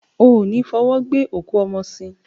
O ní fọwọ́ gbé òkú ọmọ sìn.